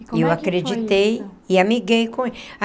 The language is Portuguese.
E eu acreditei e amiguei com ele a.